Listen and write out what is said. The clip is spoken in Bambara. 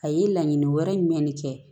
A ye laɲini wɛrɛ jumɛn de kɛ